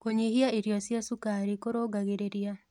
Kũnyĩhĩa irio cia shũkarĩ kũrũngagĩrĩrĩa